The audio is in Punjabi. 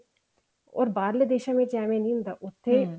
or ਬਾਹਰਲੇ ਦੇਸ਼ਾਂ ਵਿੱਚ ਏਵੇਂ ਨੀ ਹੁੰਦੀ ਉੱਥੇ